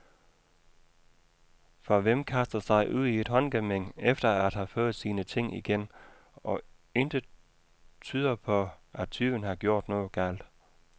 For hvem kaster sig ud i et håndgemæng, efter at have fået sine ting igen, og intet tyder på, at tyven har gjort noget galt.